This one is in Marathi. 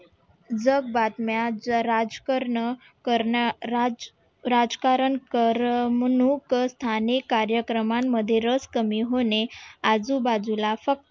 जग बातम्या राजकारण राज राजकारण करमणूक स्थाने कार्यक्रमांमध्ये रस कमी होणे आजूबाजूला फक्त